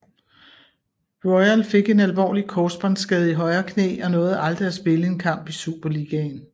Royal fik en alvorlig korsbåndsskade i højre knæ og nåede aldrig at spille en kamp i Superligaen